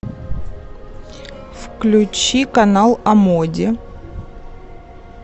включи канал о моде